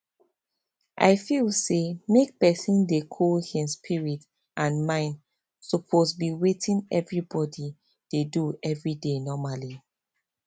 i feel say make pesin dey cool hin spirit and mind suppose be wetin everybody dey do everyday normally